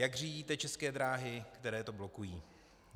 Jak řídíte České dráhy, které to blokují?